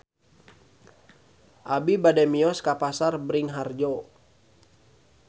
Abi bade mios ka Pasar Bringharjo